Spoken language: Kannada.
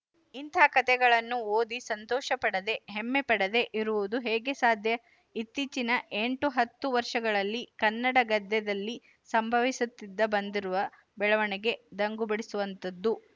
ಇಂಥ ಕಥೆಗಳನ್ನು ಓದಿ ಸಂತೋಷಪಡದೇ ಹೆಮ್ಮೆಪಡದೇ ಇರುವುದು ಹೇಗೆ ಸಾಧ್ಯ ಇತ್ತೀಚಿನ ಎಂಟುಹತ್ತು ವರ್ಷಗಳಲ್ಲಿ ಕನ್ನಡ ಗದ್ಯದಲ್ಲಿ ಸಂಭವಿಸುತ್ತ ಬಂದಿರುವ ಬೆಳವಣಿಗೆ ದಂಗುಬಡಿಸುವಂಥದ್ದು